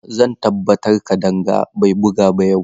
Zan tabbatar Kadanga bai bugu ba yau.